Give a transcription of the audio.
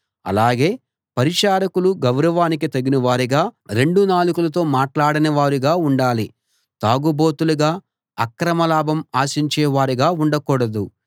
అలాగే పరిచారకులు గౌరవానికి తగినవారుగా రెండు నాలుకలతో మాట్లాడనివారుగా ఉండాలి తాగుబోతులుగా అక్రమ లాభం ఆశించేవారుగా ఉండకూడదు